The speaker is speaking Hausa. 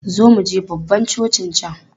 Zo muje babban cocin can!